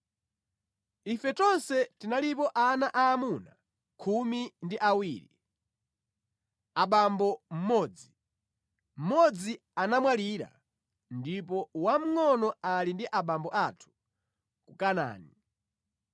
Ife tonse tinalipo ana aamuna khumi ndi awiri, abambo mmodzi. Mmodzi anamwalira, ndipo wamngʼono ali ndi abambo athu ku Kanaani.’ ”